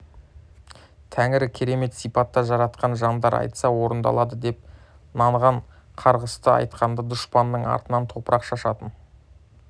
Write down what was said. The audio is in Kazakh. тәңірі керемет сипатта жаратқан жандар айтса орындалады деп нанған қарғысты айтқанда дұшпанының артынан топырақ шашатын